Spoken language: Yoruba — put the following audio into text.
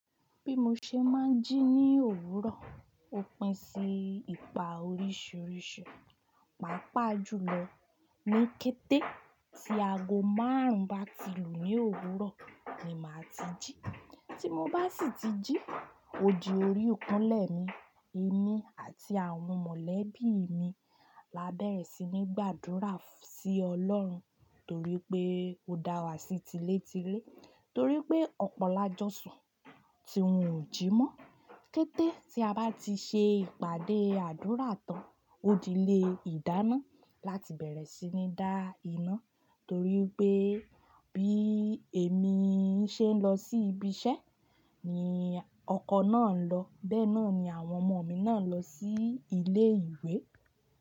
Bí mo ṣe máa ń jí ní òwúrọ̀, ó pín sí ipa oríṣiríṣi. Pàápàá jùlọ ní kété tí aago márùn-ún bá ti lù ní òwúrọ̀ ni màá ti jí. Tí mo bá sì ti jí, ó di orí ekúńlé mi. Èmi àti àwọn mọ̀lẹ́bí mi la bẹ̀rẹ̀ sí ní gbàdúrà sí Ọlọ́run torí pé ó dá wa sí ti lé ti ré. Torí pé ọ̀pọ̀lájọ́sàn tí wọ́n ò jí mọ́. Kété tí a bá ti ṣe ìpàdé àdúrà tán, ó di lé ìdáná láti bẹ̀rẹ̀ sí ní dá iná torí pé bí èmi ṣe ń lọ sí ibi iṣẹ́ ni ọkọ̀ náà ń lọ, bẹ́ẹ̀ náà ni àwọn ọmọ mi náà ń lọ sí ilé ìwé.